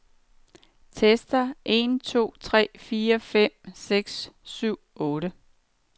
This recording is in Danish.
Tester en to tre fire fem seks syv otte.